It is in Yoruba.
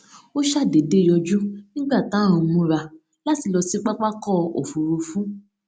ó ṣàdédé yọjú nígbà tá à ń múra láti lọ sí pápákò òfurufú